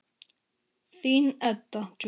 Þín, Edda Júlía.